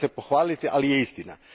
Nije se za pohvaliti, ali je istina.